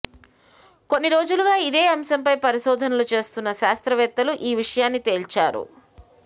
కొన్నిరోజులుగా ఇదే అంశంపై పరిశోధనలు చేసిన శాస్త్రవేత్తలు ఈ విషయాన్ని తేల్చారు